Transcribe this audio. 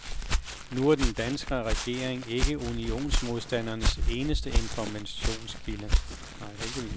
Nu er den danske regering ikke unionsmodstandernes eneste informationskilde.